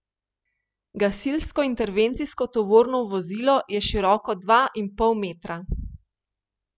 Gasilsko intervencijsko tovorno vozilo je široko dva in pol metra.